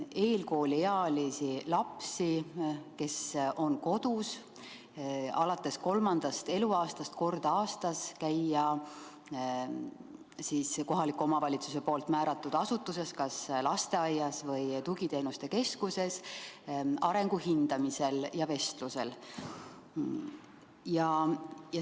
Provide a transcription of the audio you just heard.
Eelkooliealisi lapsi, kes on kodus, kohustatakse alates kolmandast eluaastast kord aastas käima kohaliku omavalitsuse määratud asutuses, kas lasteaias või tugiteenuste keskuses, arengu hindamisel ja vestlusel.